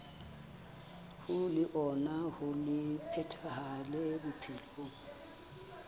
hoer leano le phethahale bophelong